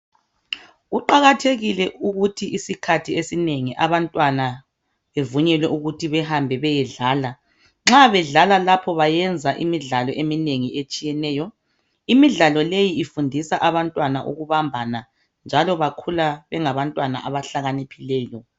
Kuqakathekile ukuthi isikhathi esinengi abantwana bevunyelwe ukuthi behambe bayedlala. Nxa bedlala lapho bayenza imidlalo eminengi etshiyeneyo. Imidlalo leyi ifundisa abantwana ukubambana njalo bakhula bengabantwana abahlakaniphileyo.